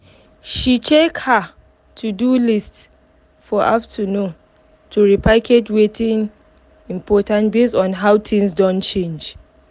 she check her to do list for afternoon to repackage watin important base on how things don change